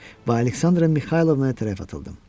Və Aleksandra Mixaylovna tərəf atıldım.